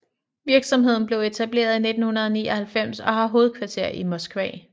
Virksomheden blev etableret i 1999 og har hovedkvarter i Moskva